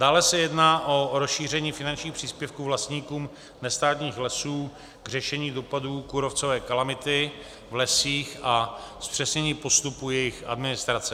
Dále se jedná o rozšíření finančních příspěvků vlastníkům nestátních lesů k řešení dopadů kůrovcové kalamity v lesích a zpřesnění postupu jejich administrace.